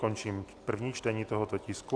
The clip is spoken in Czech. Končím první čtení tohoto tisku.